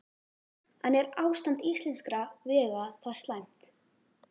En er ástand íslenskra vega það slæmt?